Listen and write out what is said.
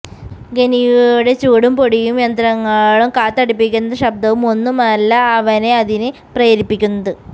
ഖനിയിലെ ചൂടും പൊടിയും യന്ത്രങ്ങളുടെ കാതടപ്പിക്കുന്ന ശബ്ദവും ഒന്നുമല്ല അവനെ അതിന് പ്രേരിപ്പിക്കുന്നത്